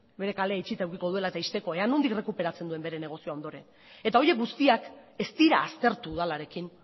bere kalea itxita edukiko duela eta ixteko ea nondik errekuperatzen duen bere negozioa ondoren eta horiek guztiak ez dira aztertu udalarekin